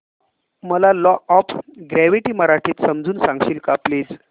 मला law of gravity मराठीत समजून सांगशील का प्लीज